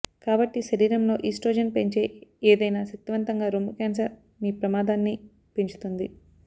కాబట్టి శరీరం లో ఈస్ట్రోజెన్ పెంచే ఏదైనా శక్తివంతంగా రొమ్ము క్యాన్సర్ మీ ప్రమాదాన్ని పెంచుతుంది